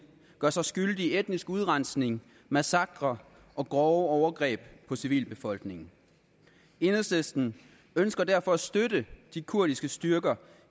gør sig skyldig i etnisk udrensning massakrer og grove overgreb på civilbefolkningen enhedslisten ønsker derfor at støtte de kurdiske styrker